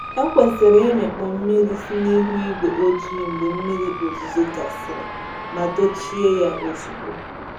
E kwesịrị ịmịkpọ mmiri si n’ihu ígwé ojii mgbe mmiri ozuzo gasịrị ma dochie ya ozugbo.